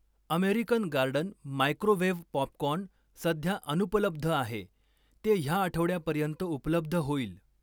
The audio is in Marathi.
अमेरिकन गार्डन मायक्रोवेव्ह पॉपकॉर्न सध्या अनुपलब्ध आहे, ते ह्या आठवड्यापर्यंत उपलब्ध होईल.